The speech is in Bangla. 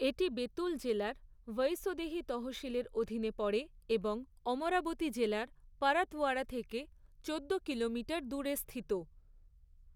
এটি বেতুল জেলার ভৈঁসদেহী তহসিলের অধীনে পড়ে এবং অমরাবতী জেলার পরাতওয়াড়া থেকে চোদ্দো কিলোমিটার দূরে স্থিত।